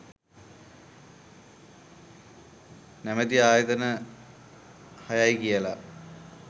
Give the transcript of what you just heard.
නැමැති ආයතන හයයි කියලා